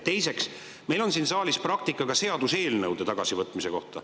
Teiseks, meil on siin saalis ka seaduseelnõude tagasivõtmise praktika.